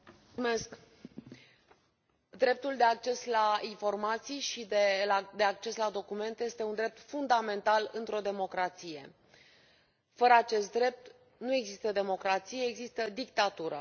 Domnule președinte, dreptul de acces la informații și de acces la documente este un drept fundamental într o democrație. Fără acest drept nu există democrație, există dictatură.